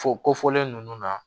Fo kofɔlen ninnu na